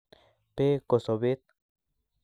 Beek ko sobet